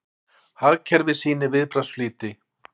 Hagkerfið sýnir viðbragðsflýti